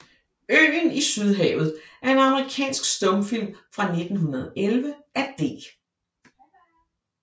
Øen i Sydhavet er en amerikansk stumfilm fra 1911 af D